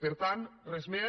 per tant res més